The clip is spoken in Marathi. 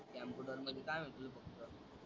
कम्प्युटर म्हणजे काय म्हणतो तू फक्त?